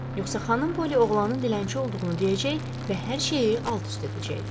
Yoxsa xanım Polli oğlanın dilənçi olduğunu deyəcək və hər şeyi alt-üst edəcəkdi.